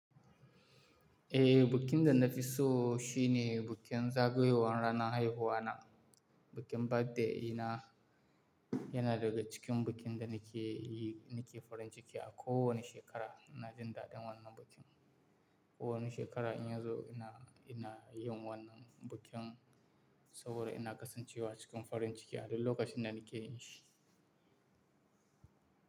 Eh, bikin da na fi so shine bikin zagayowar ranar haihuwa na. Bikin birthday dina yana daga cikin bikin da nake yi, nake farin ciki a kowanne shekara. Na jin daɗin wannan bikin. Kowanne shekara in yazo ina, ina yin wannan bikin saboda ina kasancewa cikin farin ciki a duk lokacin da nake yin shi.